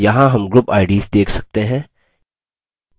यहाँ हम group ids देख सकते हैं